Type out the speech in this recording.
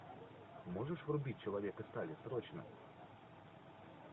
можешь врубить человек из стали срочно